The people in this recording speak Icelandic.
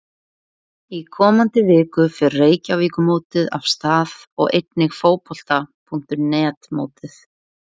Í komandi viku fer Reykjavíkurmótið af stað og einnig Fótbolta.net mótið.